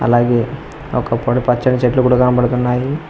అలాగే ఒకప్పటి పచ్చని చెట్లు కూడా కనపడుతున్నాయి.